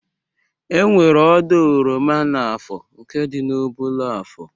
Enwere ọdọ oroma n'ahịa Afọ nke dị na Ubollo Afọ